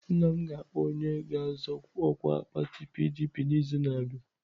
Nna m ga-akpọ onye ga-azọ ọkwa pati PDP n'izu na-abịa.